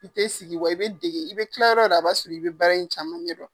I tɛ sigi wa i bɛ dege i bɛ kila yɔrɔ wo yɔrɔ a b'a sɔrɔ i bɛ baara in caman ɲɛ dɔn.